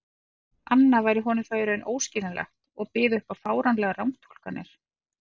anna væri honum þá í raun óskiljanleg og byði upp á fáránlegar rangtúlkanir.